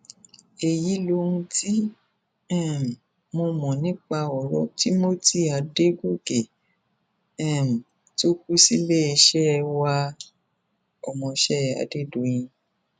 èyí lohun tí um mo mọ nípa ọrọ timothy adọdọkẹ um tó kù síléeṣẹ waọmọọṣẹ adédọyìn